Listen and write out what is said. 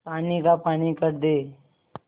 पानी का पानी कर दे